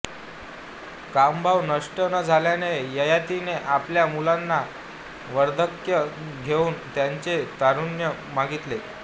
कामभाव नष्ट न झाल्याने ययातीने आपल्या मुलांना वार्धक्य घेऊन त्यांचे तारुण्य मागितले